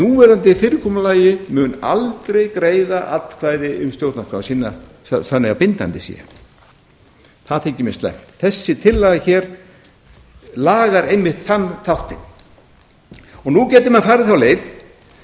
núverandi fyrirkomulagi mun aldrei greiða atkvæði um stjórnarskrá sína þannig að bindandi sé það þykir mér slæmt þessi tillaga lagar einmitt þann þáttinn nú gætu menn farið þá leið